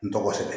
N tɔgɔ sɛbɛn